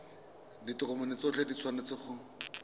ditokomane tsotlhe di tshwanetse go